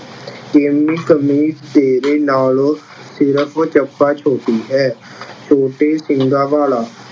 ਕਮੀਜ਼ ਤੇਰੇ ਨਾਲੋਂ ਸਿਰਫ ਚੱਪਾ ਛੋਟੀ ਹੈ। ਛੋਟੇ ਸਿੰਗਾਂ ਵਾਲਾ-